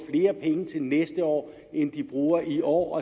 flere penge til næste år end de bruger i år